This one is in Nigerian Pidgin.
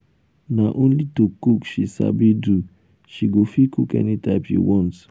na only to cook she sabi do she go fit cook any type you want.